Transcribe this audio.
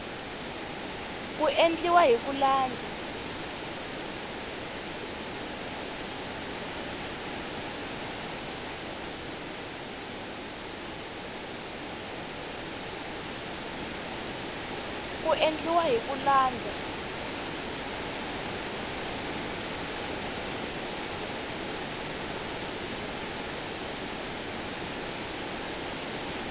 ku endliwa hi ku landza